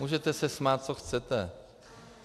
Můžete se smát, co chcete.